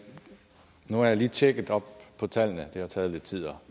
nu har jeg lige tjekket op på tallene det har taget lidt tid